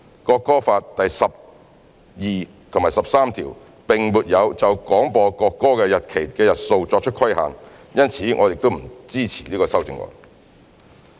《國歌法》第十二及十三條並沒有就廣播國歌的日期的日數作出規限，因此我們不支持此修正案。